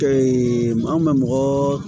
maa mun bɛ mɔgɔɔ